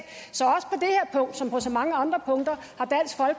så som på så mange andre punkter